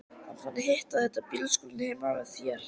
Hann fann hitt og þetta í bílskúrnum heima hjá þér.